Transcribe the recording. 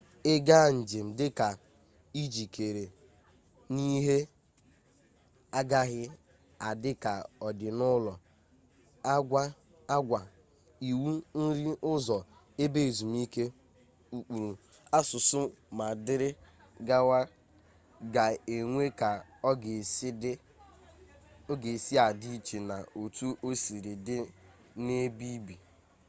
ị gaa njem dị njikere na ihe agaghị adị ka ọ dị n'ụlọ agwa iwu nri ụzọ ebe ezumike ụkpụrụ asụsụ ma dịrị gawa ga enwe ka ọ ga-esị adị iche na otu osiri dị n'ebe ibi